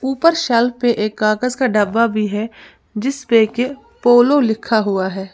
ऊपर सेल पर एक कागज का डब्बा भी है जिस पर के पोलो लिखा हुआ है।